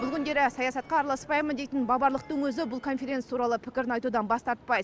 бұл күндері саясатқа араласпаймын дейтін баварлықтың өзі бұл конференция туралы пікірін айтудан бас тартпайды